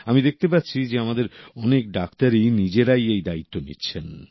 আমি দেখতে পাচ্ছি যে আমাদের অনেক ডাক্তারই নিজেরাই এই দায়িত্ব নিচ্ছেন